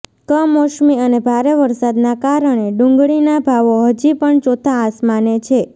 કમોસમી અને ભારે વરસાદના કારણે ડુંગળી ના ભાવો હજી પણ ચોથા આસમાને છે